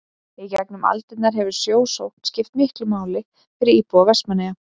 í gegnum aldirnar hefur sjósókn skipt miklu máli fyrir íbúa vestmannaeyja